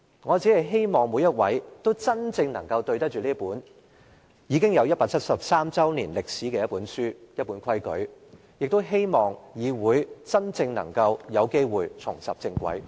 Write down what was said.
我只希望每位議員都能真正對得起這本已有173年歷史的規則，亦希望議會真正能夠有機會重拾正軌。